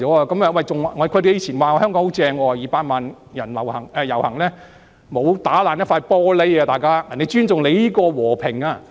他們以往說香港很好 ，200 萬人遊行也沒有損壞一塊玻璃，人家是尊重香港的和平。